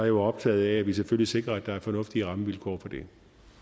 jo optaget af at vi selvfølgelig sikrer at der er fornuftige rammevilkår for det